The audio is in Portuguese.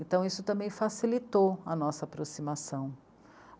Então isso também facilitou a nossa aproximação.